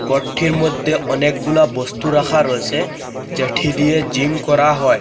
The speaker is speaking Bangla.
ঘরঠির মদ্যে অনেকগুলা বস্তু রাখা রয়েসে যেঠি দিয়ে জিম করা হয়।